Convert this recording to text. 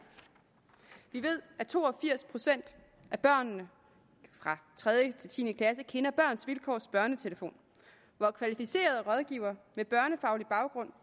vi ved at to og firs procent af børnene fra tredje til tiende klasse kender børns vilkårs børnetelefon hvor kvalificerede rådgivere med børnefaglig baggrund